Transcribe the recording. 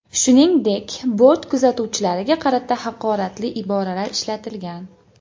Shuningdek bort kuzatuvchilariga qarata haqoratli iboralar ishlatgan.